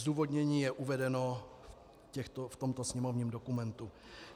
Zdůvodnění je uvedeno v tomto sněmovním dokumentu.